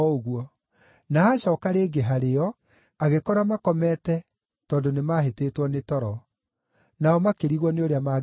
Na acooka rĩngĩ harĩo, agĩkora makomete tondũ nĩmahĩtĩtwo nĩ toro. Nao makĩrigwo nĩ ũrĩa mangĩmwĩra.